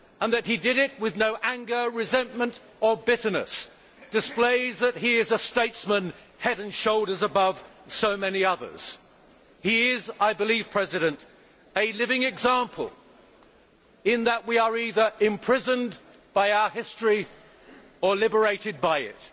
That he did it with no anger, resentment or bitterness displays that he is a statesman head and shoulders above so many others. He is, I believe, a living example, in that we are either imprisoned by our history or liberated by it.